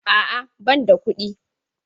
A'a ,banda kuɗi.